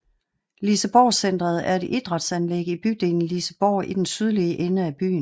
Liseborgcentret er et idrætsanlæg i bydelen Liseborg i den sydlige ende af byen